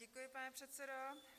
Děkuji, pane předsedo.